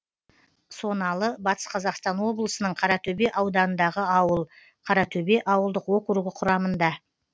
соналы батыс қазақстан облысының қаратөбе ауданындағы ауыл қаратөбе ауылдық округі құрамында